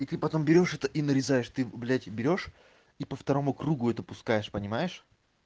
и потом берёшь это и нарезаешь ты блядь берёшь и по второму кругу это пускаешь понимаешь